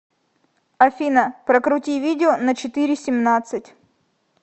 афина прокрути видео на четыре семнадцать